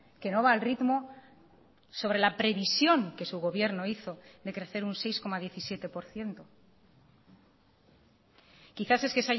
que no va al ritmo sobre la previsión que su gobierno hizo de crecer un seis coma diecisiete por ciento quizás es que